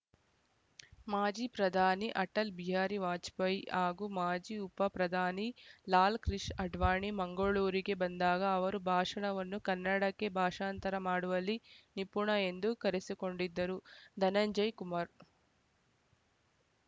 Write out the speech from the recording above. ಮಾಜಿ ಪ್ರಧಾನಿ ಅಟಲ್‌ ಬಿಹಾರಿ ವಾಜಪೇಯಿ ಹಾಗೂ ಮಾಜಿ ಉಪಪ್ರಧಾನಿ ಲಾಲ್‌ಕೃಷ್ ಅಡ್ವಾಣಿ ಮಂಗಳೂರಿಗೆ ಬಂದಾಗ ಅವರ ಭಾಷಣವನ್ನು ಕನ್ನಡಕ್ಕೆ ಭಾಷಾಂತರ ಮಾಡುವಲ್ಲಿ ನಿಪುಣ ಎಂದು ಕರೆಸಿಕೊಂಡಿದ್ದರು ಧನಂಜಯ ಕುಮಾರ್‌